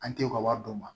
An tɛ u ka wari d'u ma